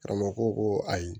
Karamɔgɔ ko ko ayi